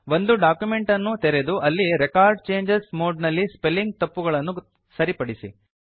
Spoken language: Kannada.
ಒಂದು ಡಾಕ್ಯುಮೆಂಟ್ ಅನ್ನು ತೆರೆದು ಅಲ್ಲಿ ರೆಕಾರ್ಡ್ ಚೇಂಜಸ್ ಮೋಡ್ ನಲ್ಲಿ ಸ್ಪೆಲ್ಲಿಂಗ್ ತಪ್ಪುಗಳನ್ನು ಸರಿಪಡಿಸಿ